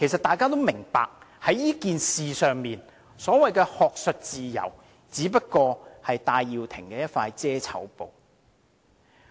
大家都明白，在這件事上，所謂學術自由只是戴耀廷的一塊"遮醜布"。